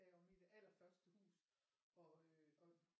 Deromme i det allerførste hus og øh og